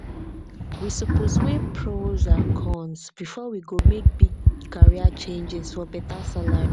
we suppose dey weigh pros and cons before we go make big career changes for beta salary.